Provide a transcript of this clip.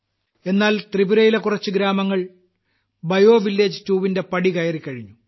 എന്നാൽ ത്രിപുരയിലെ കുറച്ചു ഗ്രാമങ്ങൾ ബയോ വില്ലേജ് 2 ന്റെ പടി കയറിക്കഴിഞ്ഞു